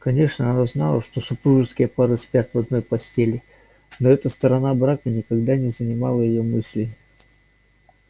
конечно она знала что супружеские пары спят в одной постели но эта сторона брака никогда не занимала её мыслей